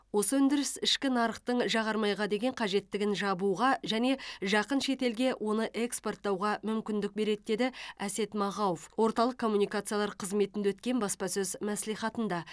осы өндіріс ішкі нарықтың жағармайға деген қажеттігін жабуға және жақын шетелге оны экспорттауға мүмкіндік береді деді әсет мағауов орталық коммуникациялар қызметінде өткен баспасөз мәслихатында